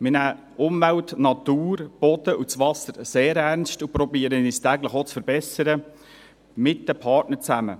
Wir nehmen Umwelt, Natur, Boden und das Wasser sehr ernst und versuchen täglich, uns auch zu verbessern zusammen mit den Partnern.